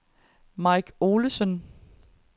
Mike Olesen